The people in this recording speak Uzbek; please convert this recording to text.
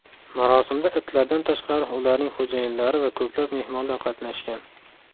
Marosimda itlardan tashqari ularning xo‘jayinlari va ko‘plab mehmonlar qatnashgan.